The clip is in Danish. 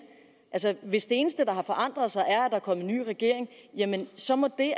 hvis det eneste der har forandret sig er at er kommet ny regering så må det